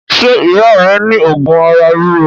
Ṣé ìyá rẹ ní òògùn ara ríro?